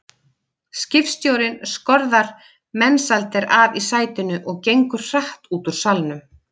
Skipstjórinn skorðar Mensalder af í sætinu og gengur hratt út úr salnum.